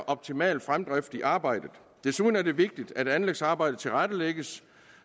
optimal fremdrift i arbejdet desuden er det vigtigt at anlægsarbejdet tilrettelægges